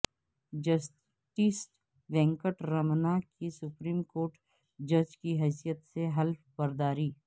justice Venkat Ramana کی supreme court جج کی حیثیت سے حلف برداری